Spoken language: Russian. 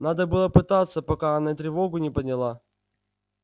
надо было пытаться пока она тревогу не подняла